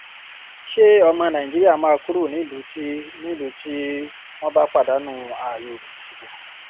ṣé ọmọ nàìjíríà máa kúrò nílùú tí nílùú tí wọn bá pàdánù ààyò ìdìbò